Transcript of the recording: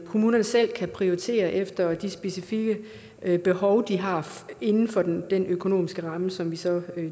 kommunerne selv kan prioritere efter de specifikke behov de har inden for den økonomiske ramme som vi så